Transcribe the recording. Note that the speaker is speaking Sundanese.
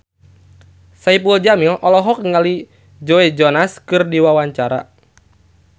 Saipul Jamil olohok ningali Joe Jonas keur diwawancara